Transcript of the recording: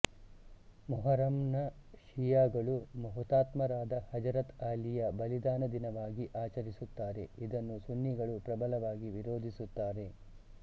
ಮೊಹರಂನ್ನ ಶಿಯಾಗಳು ಹುತಾತ್ಮರಾದ ಹಜರತ ಅಲಿ ಯ ಬಲಿದಾನ ದಿನವಾಗಿ ಆಚರಿಸುತ್ತಾರೆ ಇದನ್ನು ಸುನ್ನೀಗಳು ಪ್ರಬಲವಾಗಿ ವಿರೋಧಿಸುತ್ತಾರೆ